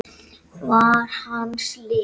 var hans lið.